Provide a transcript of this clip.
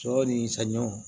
Sɔ ni saɲɔ